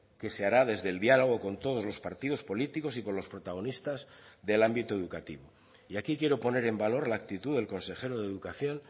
que se hará desde el diálogo con todos los partidos políticos y con los protagonistas del ámbito educativo y aquí quiero poner en valor la actitud del consejero de educación